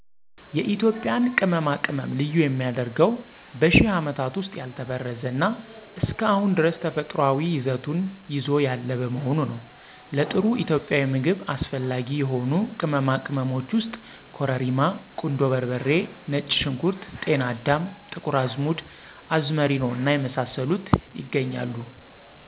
የኢትዮጵያን ቅመማ ቅመም ልዩ የሚያደርገው በሽህ አመታት ዉስጥ ያልተበረዘ እና እስከ አሁን ድረስ ተፈጥሯዊ ይዘቱን ይዞ ያለ በመሆኑ ነው። ለጥሩ ኢትዮጵያዊ ምግብ አስፈላጊ የሆኑ ቅመማ ቅመሞች ውስጥ ኮረሪማ ; ቁንዶ በርበሬ ; ነጭ ሽንኩርት ; ጤና አዳም ; ጥቁር አዝሙድ; አዝመሪኖ እና የመሳሰሉት ያገኛሉ።